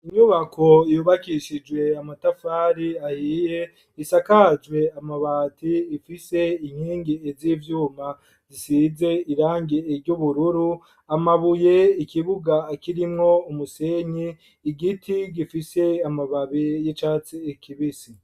Inyubako yubakishijwe amatafari ahiye isakajwe amabati ifise inkingi ivyuma zisize irangi iry'ubururu amabuye ikibuga kirimwo umusenyi igiti gifise amababe y'icatsi kibisi.